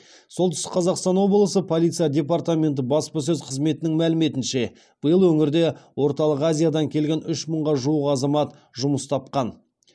солтүстік қазақстан облысы полиция департаменті баспасөз қызметінің мәліметінше биыл өңірде орталық азиядан келген үш мыңға жуық азамат жұмыс тапқан